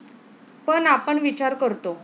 पण आपण विचार करतो.